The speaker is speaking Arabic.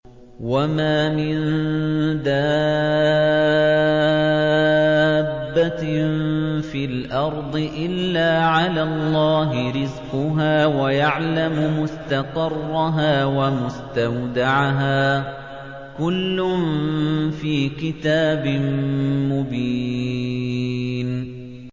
۞ وَمَا مِن دَابَّةٍ فِي الْأَرْضِ إِلَّا عَلَى اللَّهِ رِزْقُهَا وَيَعْلَمُ مُسْتَقَرَّهَا وَمُسْتَوْدَعَهَا ۚ كُلٌّ فِي كِتَابٍ مُّبِينٍ